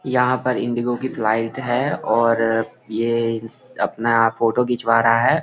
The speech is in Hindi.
यहाँ पर इंडिगो की फ्लाइट है और ये अपना फोटो खिंचवा रहा है।